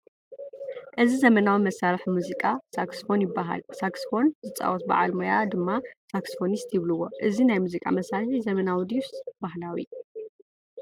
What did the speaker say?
እዚ ዘመናዊ መሳርሒ ሙዚቃ ሳክስፎን ይበሃል፡፡ ሳክስፎን ዝፃወት በዓል ሞያ ድማ ሳክስፎኒስት ይብልዎ፡፡ እዚ ናይ ሙዚቃ መሳርሒ ዘመናዊ ድዩስ ባህላዊ?